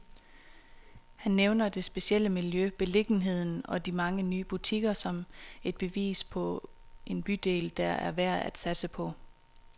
Han nævner det specielle miljø, beliggenheden og de mange nye butikker, som et bevis på en bydel, der er værd at satse på.